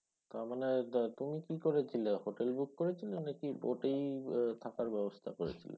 আচ্ছা। তার মানে তুমি কি করেছিলে? হোটেল book করেছিলে নাকি boat এই থাকার ব্যবস্থা করেছিলে।